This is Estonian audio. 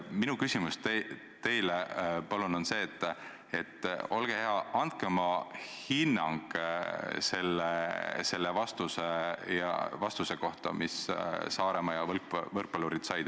Minu küsimus teile on see: olge hea, andke oma hinnang selle vastuse kohta, mis Saaremaa ja võrkpallurid said.